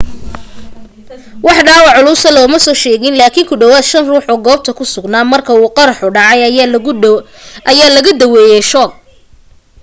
wax dhaawac culusa lama soo sheegin laakin ku dhawaad shan ruux oo goobta ku sugnaa marka uu qaraxa dhacay ayaa laga daaweyay shoog